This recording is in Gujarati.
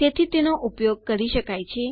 તેથી તેનો ઉપયોગ કરી શકાય છે